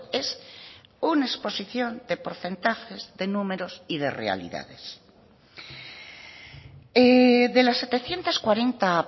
es una exposición de porcentajes de números y de realidades de las setecientos cuarenta